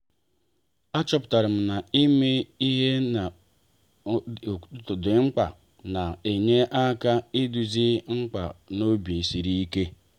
a chọpụtara m na-ime ihe dị mkpa n'ụtụtụ na-enye aka iduzi mkpebi n'obi sịrị ike.